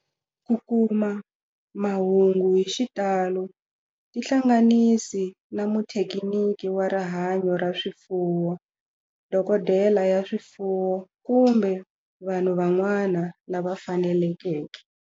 Ku kuma mahungu hi xitalo tihlanganisi na muthekiniki wa rihanyo ra swifuwo, dokodela ya swifuwo, kumbe vanhu van'wana lava fanelekeke.